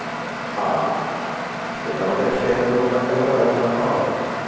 ହଁ ସେଇଟା ଗୋଟେ moment ଗୋଟେ ରହିବା କଥା ଆଉ